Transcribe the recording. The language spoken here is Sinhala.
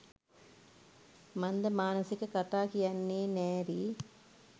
මන්දමානසික කතා කියන්නෙ නෑරී